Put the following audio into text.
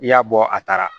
I y'a bɔ a taara